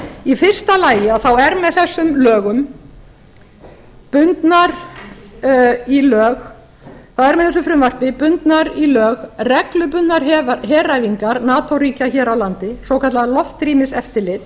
í fyrsta lagi er með þessu frumvarpi bundnar í lög reglubundnar heræfingar nato ríkja hér á landi svokallað loftrýmiseftirlit